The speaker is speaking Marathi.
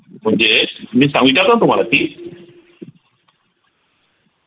म्हणजेच मी सांगतोय आता तुम्हाला की